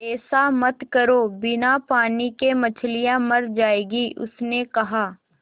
ऐसा मत करो बिना पानी के मछलियाँ मर जाएँगी उसने कहा